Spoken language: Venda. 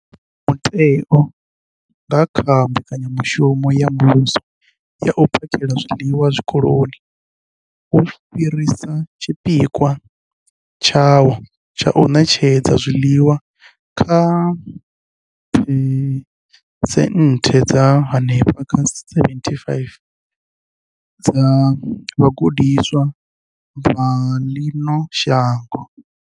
Mutheo, nga kha Mbekanyamushumo ya Muvhuso ya U phakhela zwiḽiwa Zwikoloni, wo fhirisa tshipikwa tshawo tsha u ṋetshedza zwiḽiwa kha phesenthe dza henefha kha 75 dza vhagudiswa vha ḽino shango.